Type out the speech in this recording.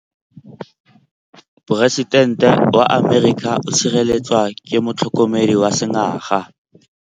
Poresitêntê wa Amerika o sireletswa ke motlhokomedi wa sengaga.